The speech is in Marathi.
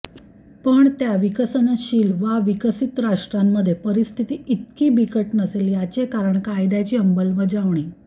पण त्या विकसनशील वा विकसीत राष्ट्रांमध्ये परिस्थिती ईतकी बिकट नसेल याचे कारण कायद्याची अंमलबजावणी